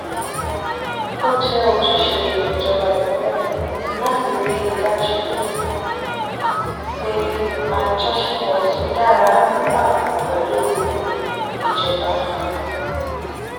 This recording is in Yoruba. ó jẹ́ ojúṣe ìjọba ìpínlẹ̀ láti rí i dájú pé àjọṣepọ̀ tó dára wà pẹ̀lú ìjọba